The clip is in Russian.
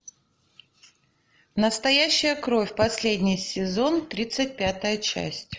настоящая кровь последний сезон тридцать пятая часть